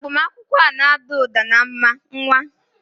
Agbamakwụkwọ a na-ada ụda na mma, nwa!